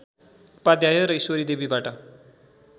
उपाध्याय र ईश्वरी देवीबाट